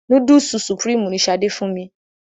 Núdùsù Supreme ni Ṣadé fún mi.